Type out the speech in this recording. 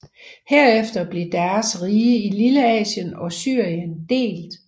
Herefter blev deres rige i Lilleasien og Syrien delt